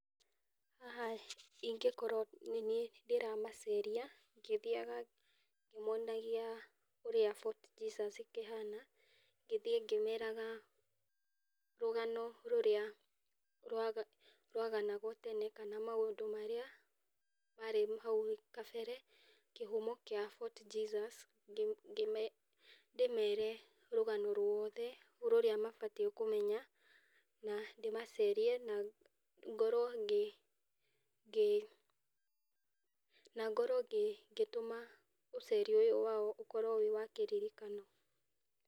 Haha ingĩkorwo nĩniĩ ndĩramaceeria ,ingĩthiaga ngĩmonagia ũrĩa Fort Jesus ĩhana, ngĩthiĩ ngĩmeraga rũgano rũrĩa rwaganagwo tene kana maũndũ marĩa marĩ hau kabere, kĩhumo kĩa Fort Jesus, ndĩmeere rũgano ruothe rũrĩa mabatiĩ kũmenya, na ndĩmaceerie na ngorwo ngĩ, na ngorwo ngĩtũma ũceeri ũyũ wao ũkorwo wĩ wa kĩririkano.